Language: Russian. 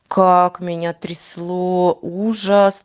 как меня трясло ужас